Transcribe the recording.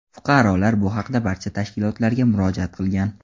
Fuqarolar bu haqda barcha tashkilotlarga murojaat qilgan.